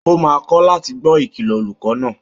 Ó máa kọ̀ láti gbọ́ Ìkìlọ̀ olùkọ́ náà